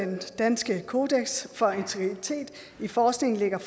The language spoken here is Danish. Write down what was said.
danske kodeks for integritet i forskning lægger